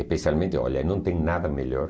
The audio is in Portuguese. Especialmente, olha, não tem nada melhor.